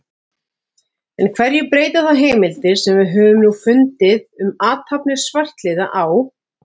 En hverju breyta þá heimildir, sem við höfum nú fundið um athafnir svartliða á